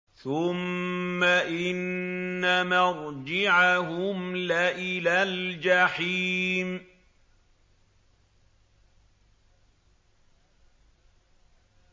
ثُمَّ إِنَّ مَرْجِعَهُمْ لَإِلَى الْجَحِيمِ